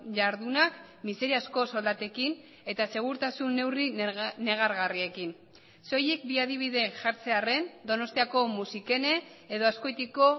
jardunak miseriazko soldatekin eta segurtasun neurri negargarriekin soilik bi adibide jartzearren donostiako musikene edo azkoitiko